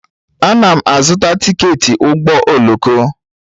Ana m azụta tiketi ụgbọ oloko.